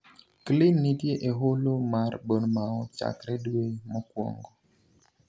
clyne nitie e holo mar Bournemouth chakre dwe mokuongo